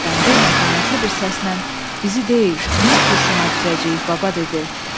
Mithət Əfəndi mətanətli bir səslə bizi deyil, biz kurşuna düzəcəyik baba, dedi.